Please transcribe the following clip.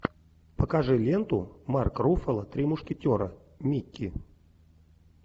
покажи ленту марк руффало три мушкетера микки